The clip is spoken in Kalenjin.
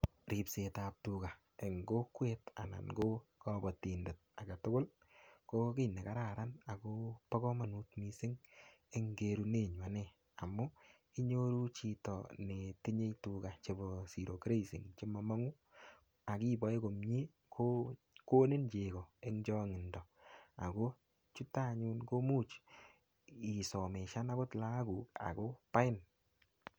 Ripsetab tuga eng kokwet anan ko kabotindet agetugul ko kiy nekararan ako bo komanut mising eng kerunenyu ane. Amu inyoru chito netinyei tuga chebo ziro grassing chemamong'u, akiboe komie ko konin cheko eng chong'indo ako imuch akot isomeshan akot lagokuk akobain.